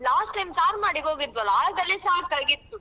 Last time ಚಾರ್ಮಾಡಿಗೆ ಹೋಗಿದ್ವಲ್ಲಾ ಆಗ ಅಲ್ಲಿ ಸಾಕಾಗಿತ್ತು.